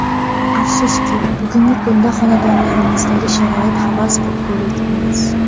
Afsuski, bugungi kunda xonadonlarimizdagi sharoit havas qilgulik emas.